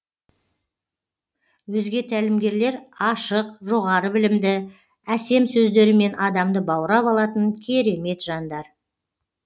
өзге тәлімгерлер ашық жоғары білімді әсем сөздерімен адамды баурап алатын керемет жандар